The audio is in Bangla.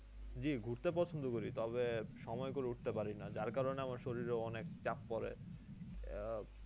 জ্বি ঘুরতে পছন্দ করি তবে সময় করে উঠতে পারিনা যার কারণে আমার শরীর এ অনেক চাপ পরে আহ